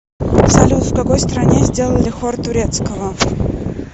салют в какой стране сделали хор турецкого